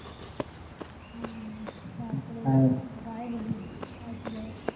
ও তার পরে গায়ে হলুদ আসবে